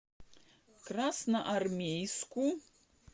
красноармейску